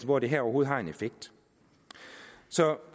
hvor det her overhovedet har en effekt så